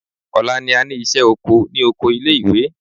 Ọ̀la ni a ní ìṣẹ́ oko ní oko ilé ìwé.